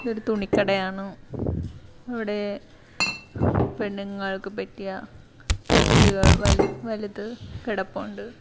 ഇതൊരു തുണികടായാന്നു അവിടെ പെണ്ണുങ്ങൾക്ക് പറ്റിയ ഡ്രസ്സുകൾ വല് വലുത് കെടപ്പൊണ്ട്.